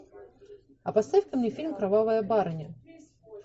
а поставь ка мне фильм кровавая барыня